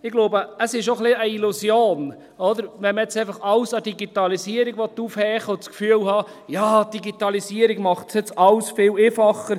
Ich glaube, es ist auch ein bisschen eine Illusion, wenn man jetzt einfach alles an der Digitalisierung aufhängen will und das Gefühl hat, ja, die Digitalisierung macht alles viel einfacher.